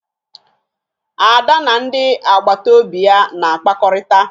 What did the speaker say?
Ada na ndị agbataobi ya na-akpakọrịta